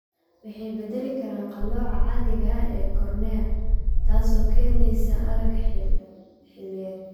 Waxay bedeli karaan qalooca caadiga ah ee cornea, taasoo keenaysa aragga xilliyeed.